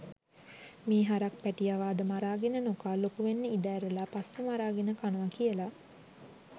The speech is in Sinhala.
මේ හරක් පැටියව අද මරාගෙන නොකා ලොකුවෙන්න ඉඩ ඇරලා පස්සේ මරාගෙන කනවා කියලා